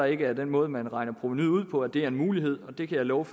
ikke af den måde man regner provenuet ud på at det er en mulighed og det kan jeg love